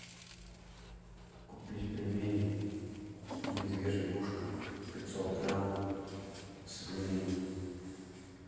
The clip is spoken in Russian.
купить пельмени медвежье ушко пятьсот грамм свиные